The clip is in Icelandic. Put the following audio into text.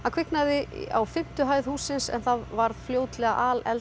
kviknaði á fimmtu hæð hússins en það varð fljótlega